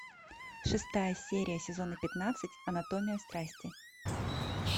шестая серия сезона пятнадцать анатомия страсти